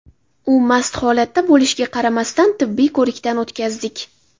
U mast holatda bo‘lishiga qaramasdan, tibbiy ko‘rikdan o‘tkazdik.